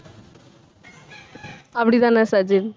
அப்படித்தானா Sajin